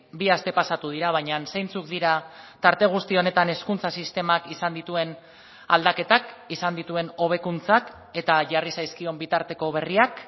bi aste pasatu dira baina zeintzuk dira tarte guzti honetan hezkuntza sistemak izan dituen aldaketak izan dituen hobekuntzak eta jarri zaizkion bitarteko berriak